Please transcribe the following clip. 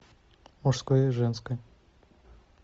мужское и женское